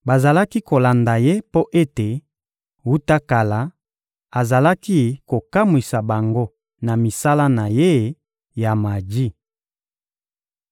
Bazalaki kolanda ye mpo ete, wuta kala, azalaki kokamwisa bango na misala na ye ya maji.